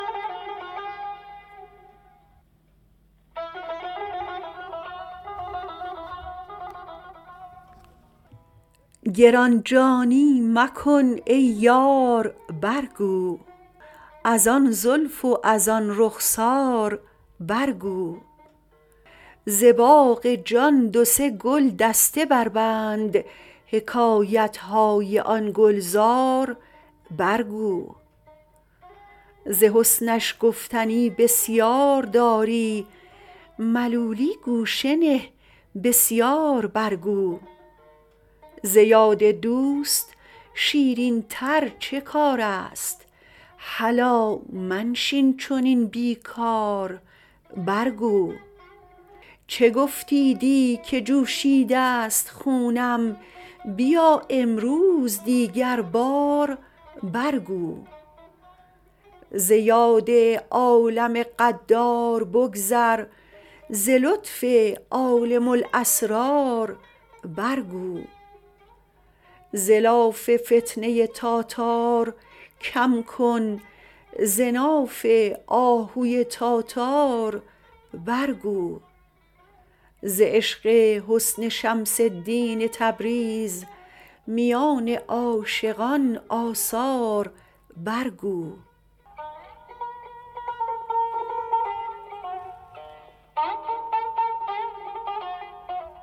گران جانی مکن ای یار برگو از آن زلف و از آن رخسار برگو ز باغ جان دو سه گلدسته بربند حکایت های آن گلزار برگو ز حسنش گفتنی بسیار داری ملولی گوشه نه بسیار برگو ز یاد دوست شیرینتر چه کار است هلا منشین چنین بی کار برگو چه گفتی دی که جوشیده ست خونم بیا امروز دیگربار برگو ز یاد عالم غدار بگذر ز لطف عالم الاسرار برگو ز لاف فتنه تاتار کم کن ز ناف آهوی تاتار برگو ز عشق حسن شمس الدین تبریز میان عاشقان آثار برگو